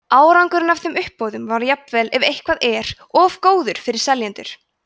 árangurinn af þeim uppboðum var jafnvel ef eitthvað er of góður fyrir seljendur